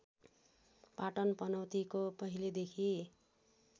पाटन पनौतीको पहिलेदेखि